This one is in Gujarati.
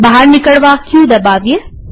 બહાર નીકળવા ક દબાવીએ